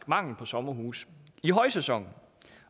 mangel på sommerhuse i højsæsonen